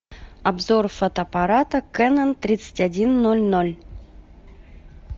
обзор фотоаппарата кэнон тридцать один ноль ноль